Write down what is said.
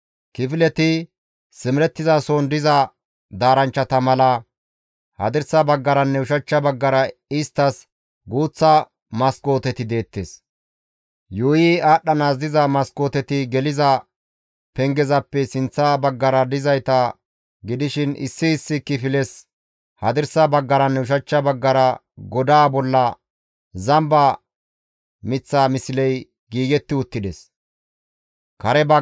Kifileti simerettizason diza daaranchchata mala hadirsa baggaranne ushachcha baggara isttas guuththa maskooteti deettes. Yuuyi aadhdhanaas diza maskooteti geliza pengezappe sinththa baggara dizayta gidishin issi issi kifiles hadirsa baggaranne ushachcha baggara godaa bolla zamba miththa misley giigetti uttides.